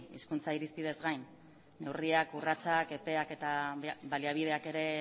hizkuntza irizpideez gain neurria urratsak epeak eta baliabideak ere